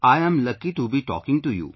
I am lucky to be talking to you